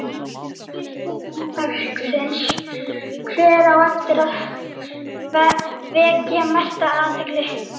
Fyrri spurning dagsins: Hver á eftir að vekja mesta athygli?